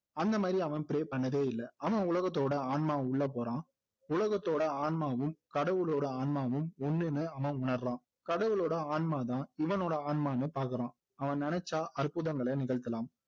அந்த மாதிரி அவன் pray பண்ணதே இல்லை அவன் உலகத்தோட ஆன்மா உள்ள போறான் உலகத்தோட ஆன்மாவும் கடவுளோட ஆன்மாவும் ஒண்ணுன்னு அவன் உணர்றான் கடவுளோட ஆன்மாதான் இவனோட ஆந்மான்னு பாக்குறான் அவன் நினைச்சா அற்புதங்களை நிகழ்த்தலாம்